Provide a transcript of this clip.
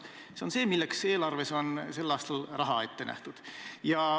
See on see, milleks eelarves on tänavu raha ette nähtud.